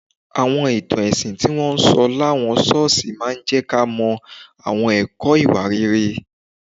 Àwọn ìtàn ẹ̀sìn tí wọ́n ń sọ láwọn ṣọ́ọ̀ṣì máa ń jẹ́ ká mọ àwọn ẹ̀kọ́ ìwà rere